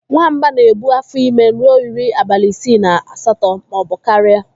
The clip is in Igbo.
Nwamba na-ebu afọ ime ruo iri abalị isii na asatọ maọbụ karịa.